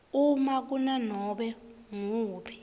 uma kunanobe nguwuphi